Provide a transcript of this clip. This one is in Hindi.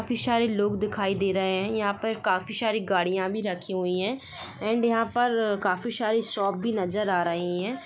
काफी सारे लोग दिखाई दे रहे है यहा पर काफी सारे गाड़ियाँ भी रखी हुई है एंड यहाँ पर काफी सारे शॉप भी नज़र आ रही है।